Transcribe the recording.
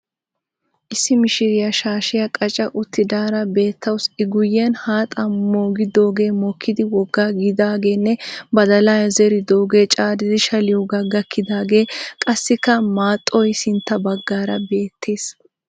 Issi mishiriya shaashiya qaca uttidaara beettawus I guyyen haaxaa mogidoogee mokkidi woggaa kiyidaageenne badalaa zeridoogee caaridi shaliyoyogaa gakkidaagee qassikka maaxxoy sintta baggaara beettees.